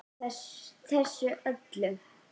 Þessu öllu.